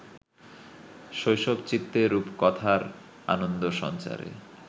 শৈশবচিত্তে রূপকথার আনন্দ সঞ্চারে